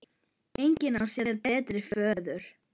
Engin á sér betri föður.